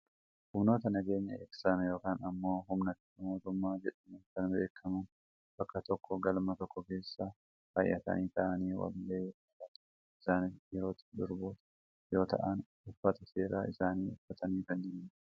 humnoota nageenya eegsisan yookaan ammoo humna tika mootummaa jedhamuun kan beekkaman bakka tooko galma tokko keessa baayyatanii taa'anii wal gahii irra kan jiranidha. isaanis dhiirotaani durboota yoo ta'an uffata seeraa isaanii uffatanii kan jiranidha.